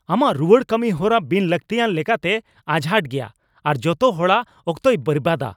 ᱟᱢᱟᱜ ᱨᱩᱣᱟᱹᱲ ᱠᱟᱹᱢᱤᱦᱚᱨᱟ ᱵᱤᱱ ᱞᱟᱹᱠᱛᱤᱭᱟᱱ ᱞᱮᱠᱟᱛᱮ ᱟᱡᱷᱟᱴ ᱜᱮᱭᱟ ᱟᱨ ᱡᱚᱛᱚ ᱦᱚᱲᱟᱜ ᱚᱠᱛᱚᱭ ᱵᱮᱨᱵᱟᱫᱟ ᱾